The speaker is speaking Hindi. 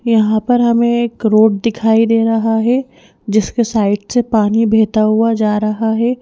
यहाँ पर हमें एक रोड दिखाई दे रहा है जिसके साइड से पानी बहता हुआ जा रहा है।